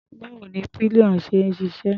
Báwo ni pillion ṣe ń ṣiṣẹ́?